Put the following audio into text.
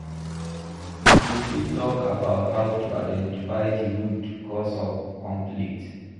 You fit talk about how to identify di root cause of conflict.